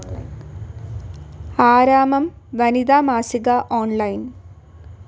ആരാമം വനിതാ മാസിക ഓൺലൈൻ